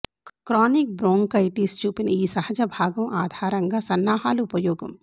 chronic bronchitis చూపిన ఈ సహజ భాగం ఆధారంగా సన్నాహాలు ఉపయోగం